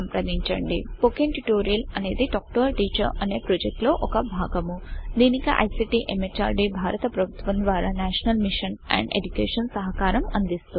spoken tutorial అనేది talk to a teacher అనే project లో ఒక భాగము దీనికి ఐసీటీ ఎంహార్డీ భారత ప్రభుత్వము ద్వారా నేషనల్ మిషన్ అండ్ ఎడ్యుకేషన్ సహకారం అందిస్తోంది